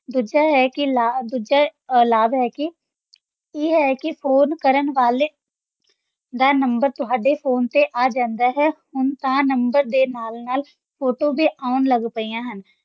ਦੂਜਾ ਹੈ ਕਿ ਲਾਭ ਦੂਜਾ ਅਹ ਲਾਭ ਇਹ ਹੈ ਕਿ phone ਕਰਨ ਵਾਲੇ ਦਾ number ਤੁਹਾਡੇ phone ‘ਤੇ ਆ ਜਾਂਦਾ ਹੈ, ਹੁਣ ਤਾਂ number ਦੇ ਨਾਲ-ਨਾਲ photo ਵੀ ਆਉਣ ਲੱਗ ਪਈਆਂ ਹਨ।